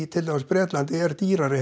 til dæmis í Bretlandi er dýrari